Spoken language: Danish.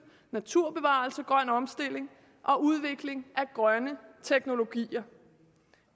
naturbevarelse grøn omstilling og udvikling af grønne teknologier